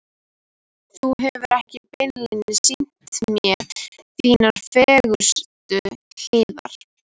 Þú hefur ekki beinlínis sýnt mér þínar fegurstu hliðar.